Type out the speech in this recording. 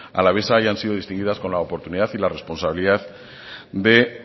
alavesa hayan sido distinguidas con la oportunidad y la responsabilidad de